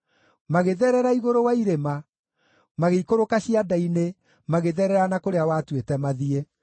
magĩtherera igũrũ wa irĩma, magĩikũrũka cianda-inĩ, magĩtherera na kũrĩa watuĩte mathiĩ.